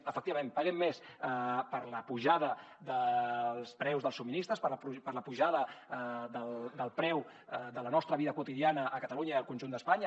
efectivament paguem més per l’apujada dels preus dels subministraments per l’apujada del preu de la nostra vida quotidiana a catalunya i al conjunt d’espanya